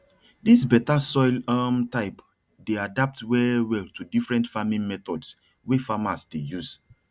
dis better soil um type dey adapt well well to different farming methods wey farmers dey use